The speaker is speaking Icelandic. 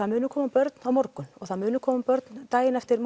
munu koma börn á morgun og það munu koma börn daginn eftir